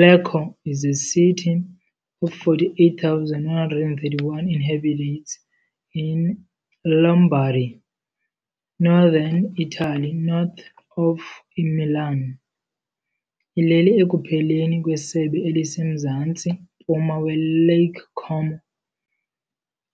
Lecco is a city of 48,131 inhabitants in Lombardy, northern Italy, north of iMilan. Ilele ekupheleni kwesebe elisemzantsi-mpuma weLake Como,